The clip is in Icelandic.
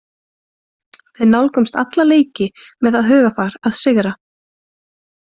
Við nálgumst alla leiki með það hugarfar að sigra.